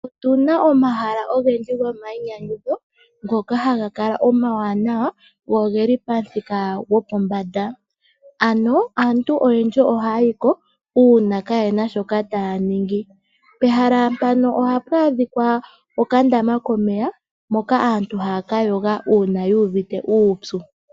Otuna omahala ogendji gomainyanyudho ngoka haga omawanawa go ogeli pomuthika gopombanda. Ano aantu oyendji ohaya yi ko uuna kaaye na shoka taya ningi. Pehala mpano ohapu adhika okandama komeya moka aantu haya ka yoga uuna yu uvite uupyu.